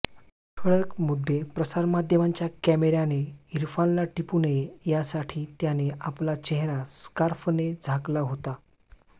ठळक मुद्दे प्रसारमाध्यमांच्या कॅमेराने इरफानला टिपू नये यासाठी त्याने आपला चेहरा स्कार्फने झाकला होता